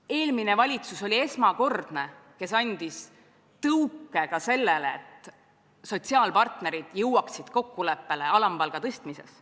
Eelmine valitsus oli esimene, kes andis tõuke sellele, et sotsiaalpartnerid jõuaksid kokkuleppele alampalga tõstmises.